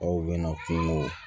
Aw bɛna kungo